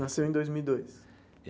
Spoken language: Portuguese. Nasceu em dois mil e dois?